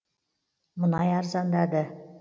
мұнай арзандады